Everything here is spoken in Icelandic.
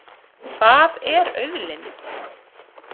Hvað er auðlind?